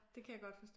Det kan jeg godt forstå